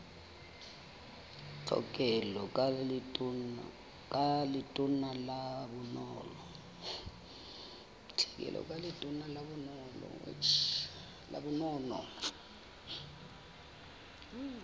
tlhekelo ka letona la bonono